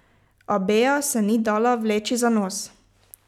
A Bea se ni dala vleči za nos.